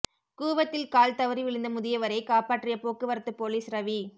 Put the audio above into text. கூவத்தில் கால் தவறி விழுந்த முதியவரை காப்பாற்றிய போக்குவரத்து போலீஸ் ரவி